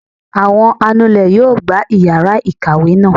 Awọn anulè yóò gbá iyara ikáwe naa